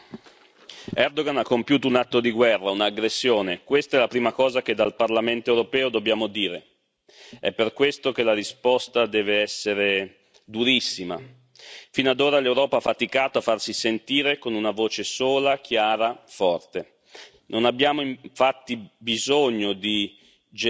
Signora Presidente, onorevoli colleghi, Erdogan ha compiuto un atto di guerra, un'aggressione. Questa è la prima cosa che dal Parlamento europeo dobbiamo dire. È per questo che la risposta deve essere durissima. Fino ad ora, l'Europa ha faticato a farsi sentire con una voce sola, chiara, forte. Non abbiamo, infatti, bisogno